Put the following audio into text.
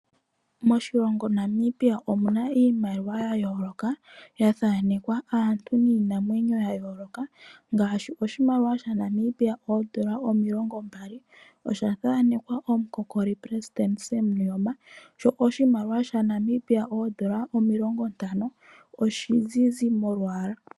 Moshilongo Namibia omuna iimaliwa yayooloka, yathanekwa aantu niinamwenyo yayooloka ngaashi, oshimaliwa shaNamibia oondola omilongo mbali osha tha anekwa omukokoli omuleli Sam Nuuyoma, sho oshimaliwa shaNamibia oondola omilongo ntano oshizizi molwaala.